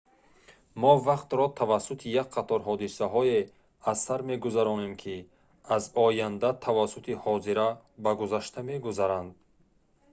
мо вақтро тавассути як қатор ҳодисаҳое аз сар мегузаронем ки аз оянда тавассути ҳозира ба гузашта мегузаранд